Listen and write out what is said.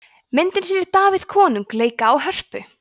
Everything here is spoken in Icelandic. myndin sýnir davíð konung leika á hörpu